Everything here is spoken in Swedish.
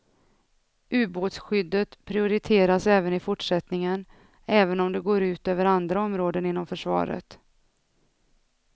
Ubåtsskyddet prioriteras även i fortsättningen, även om det går ut över andra områden inom försvaret.